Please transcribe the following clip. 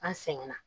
An sɛgɛnna